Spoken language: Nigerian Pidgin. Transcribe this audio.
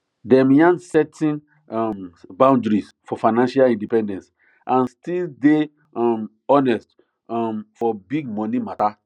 dem yan setting um boundaries for financial independence and still day um honest um for big money matter